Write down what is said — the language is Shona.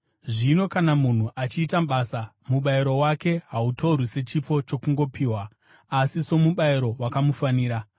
Zvino kana munhu achiita basa, mubayiro wake hautorwi sechipo chokungopiwa, asi somubayiro wakamufanira.